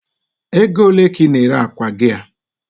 Egole ka i na-ere akwa gi a?